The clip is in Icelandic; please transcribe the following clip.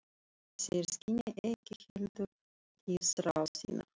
Þeir skynja ekki heldur lífsþrá þína.